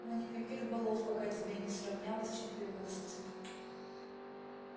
но никаких балов пока тебе не сравнялось четырнадцати